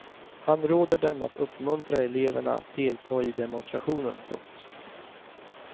Han råder dem att uppmuntra eleverna att delta i demonstrationen. punkt